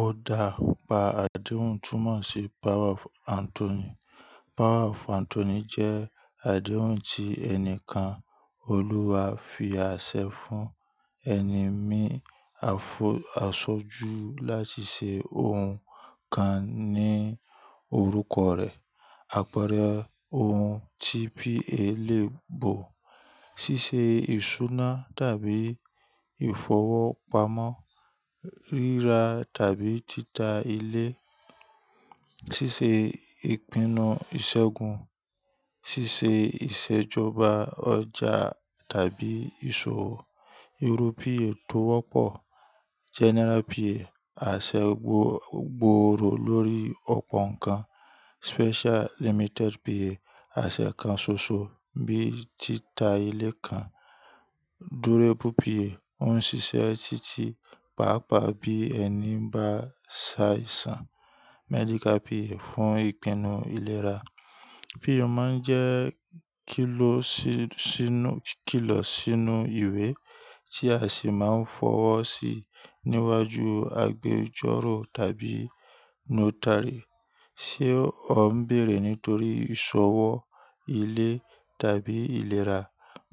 O dá pa àdéhùn túmọ̀ sí Power of Attorney. Power of Attorney jẹ́ àdéhùn tí ẹnìkan, olùwà fi àṣẹ fún ẹni mí àsọ́jú láti ṣe ohun kan ní orúkoọ reẹ̀. Àpẹẹrẹ ohun tí P.A lè bọ̀, ṣíṣe ìṣúná tàbí ìfọwọ́pamo, ríra tàbí títà ilé, ṣíṣe ìpinnu ìṣẹ́gun, ṣíṣe ìṣèjọba ọjà tàbí ìṣòwò. Irọ́ P.A tó wọ́pọ̀ jẹ́ General P.A, àṣẹ gbòòrò lórí ọ̀pọ̀ nǹkan. Special limited PA, àṣẹ kan ṣoṣo bíi títà ilé kan. Durable PA, ó ń ṣiṣẹ́ títí pàápàá bí ẹni bá ṣàìsàn. Medical PA fún ìpinnu ìlera. POA máa ń jẹ́ kílọ̀ sínú ìwé tí a sì máa ń fọwọ́ sí níwájú agbẹjọ́rò tàbí notary. Sé o ń bèrè nítorí ìṣòwò ilé tàbí ìlera,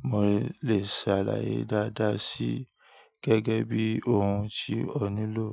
mo lè ṣàlàyé dáadáa sí gẹ́gẹ́ bí ohun tí o nílò.